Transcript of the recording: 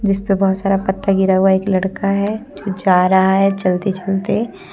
जिसपे बहुत सारा पत्ता गिरा हुआ है एक लड़का है जो जा रहा है चलते चलते।